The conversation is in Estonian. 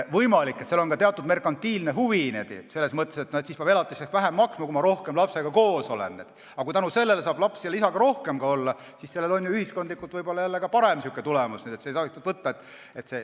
Võimalik, et seal on ka teatud merkantiilne huvi, selles mõttes, et siis peab vähem elatist maksma, kui rohkem lapsega koos olla, aga kui tänu sellele saab laps isaga rohkem koos olla, siis on sellel ühiskondlikult jälle parem tulemus.